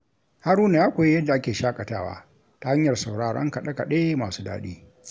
Haruna ya koyi yadda ake shakatawa ta hanyar sauraron kaɗe-kaɗe masu daɗi.